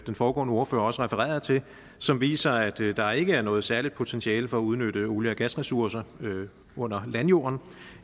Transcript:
foregående ordfører også refererede til som viser at det er der ikke er noget særligt potentiale for at udnytte olie og gasressourcer under landjorden